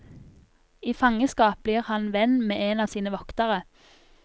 I fangeskap blir han venn med en av sine voktere.